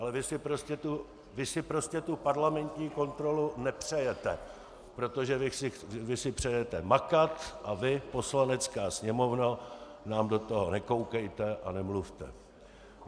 Ale vy si prostě tu parlamentní kontrolu nepřejete, protože vy si přejete makat a vy, Poslanecká sněmovno, nám do toho nekoukejte a nemluvte.